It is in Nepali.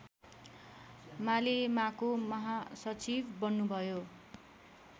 मालेमाको महासचिव बन्नुभयो